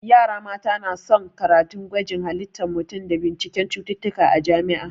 Yara mata na son karatun gwajin halittar mutum da binciken cututtuka a jami'a